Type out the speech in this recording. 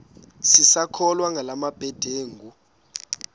sisakholwa ngala mabedengu